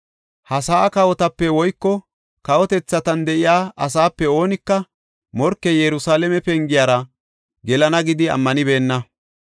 Ha sa7a kawotape woyko kawotethatan de7iya asaape oonika morkey Yerusalaame pengiyara gelana gidi ammanibena.